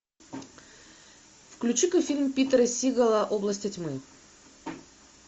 включи ка фильм питера сигела области тьмы